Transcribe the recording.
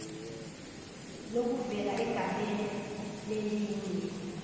lokuvela egamele lelinye